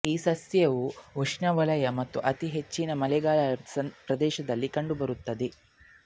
ಈ ಸಸ್ಯವು ಉಷ್ಣವಲಯ ಮತ್ತು ಅತಿ ಹೆಚ್ಚಿನ ಮಳೆಯಾಗುವ ಪ್ರದೇಶಗಳಲ್ಲಿ ಕಂಡುಬರುತ್ತದೆ